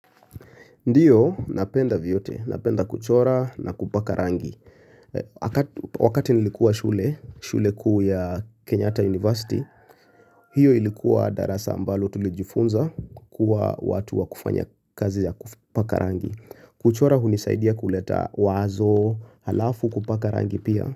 Ndiyo, napenda vyote, napenda kuchora na kupaka rangi. Wakati nilikuwa shule, shule kuu ya Kenyata University, hiyo ilikuwa darasa ambalo tulijifunza kukua watu wa kufanya kazi ya kupaka rangi. Kuchora hunisaidia kuleta wazo, halafu kupaka rangi pia.